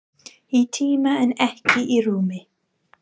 Í tíma en ekki í rúmi.